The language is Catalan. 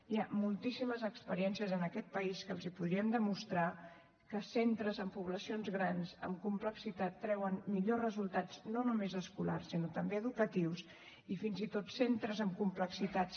hi ha moltíssimes experiències en aquest país que els podrien demostrar que centres en poblacions grans en complexitat treuen millors resultats no només escolars sinó també educatius i fins i tot centres amb complexitats